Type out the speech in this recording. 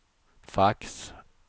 fax